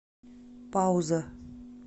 пауза